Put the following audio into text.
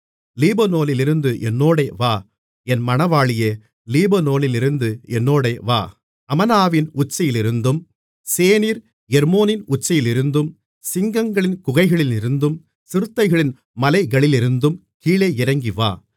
லீபனோனிலிருந்து என்னோடே வா என் மணவாளியே லீபனோனிலிருந்து என்னோடே வா அமனாவின் உச்சியிலிருந்தும் சேனீர் எர்மோனின் உச்சியிலிருந்தும் சிங்கங்களின் குகைகளிலிருந்தும் சிறுத்தைகளின் மலைகளிலிருந்தும் கீழே இறங்கி வா